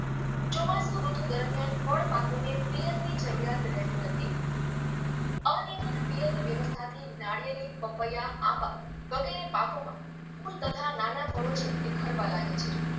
ચોમાસુ ઋતુ દરમિયાન ફળપાકોને પિયતની જરૂરિયાત રહેતી નથી અનિયમિત પિયત વયવસ્થાથી નાળિયેરી પપૈયા આંબા વગેરે પાકોમાં ફૂલ તથા નાના ફળો છે તે ખરવા લાગે છે